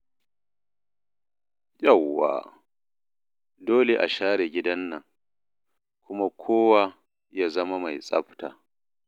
Yawwa, dole a share gidan nan, kuma kowa ya zama mai tsafta.